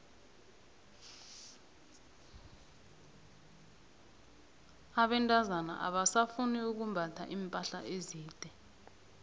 abentazana abasafuni ukumbatha iimpahla ezide